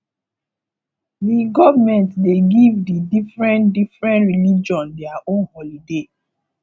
di government dey give di diferen diferen religion their own holiday